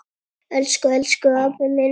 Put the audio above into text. Elsku, elsku afi minn.